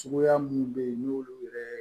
Suguya minnu bɛ yen n'olu yɛrɛ